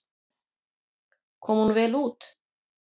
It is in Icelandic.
Kom hún vel út.